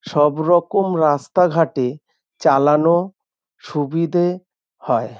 সব রকম রাস্তাঘাটে চালানো সুবিধে হয়।